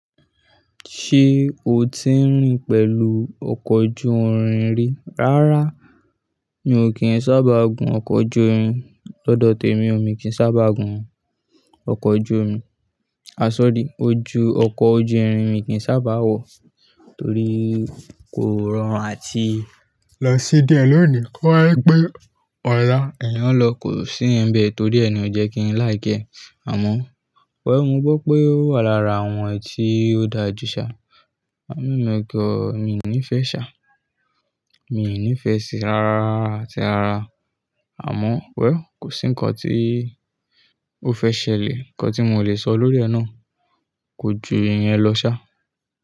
Ṣé o ti ń rìn pẹ̀lú ọkọ̀ ojú irin rí? Rárá, mi ò kí ń sábà gun ọkọ̀ ojú omi. Lọ́dọ̀ tèmi, omi kì í sábà gun ọkọ̀ ojú omi. Aṣọ́dì, ojú ọkọ̀ ojú irin mi kì í sábà wọ̀ torí kó rọrùn àti ẹ̀yàn lọ kò sí ibẹ̀ torí ẹ̀ni ò jẹ́ kí ń láì gé. Àmọ́, wẹ̀, mo gbọ́ pé ó wà lára àwọn èyí tó dáa jù ṣá. Àmọ́, ègọ́ mi ò ní fẹ́ ṣá. Mi ò ní fẹ́ si rárá àti rárá. Àmọ́, wẹ̀ll, kò sí ǹkan tí ó fẹ́ ṣẹlẹ̀, ǹkan tí mo le sọ lórí ẹ nàá. Ko ju ìyẹn lọ ṣá.